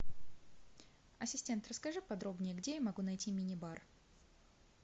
ассистент расскажи подробнее где я могу найти мини бар